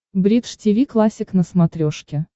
бридж тиви классик на смотрешке